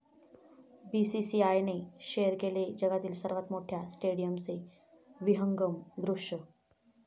बीसीसीआयने शेअर केले जगातील सर्वात मोठ्या स्टेडियमचे विहंगम दृश्य